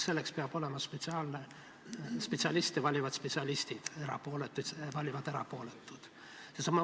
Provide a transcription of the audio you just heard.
Selleks peab olema spetsiaalne kogu, nii et spetsialiste valivad spetsialistid, erapooletuid valivad erapooletud.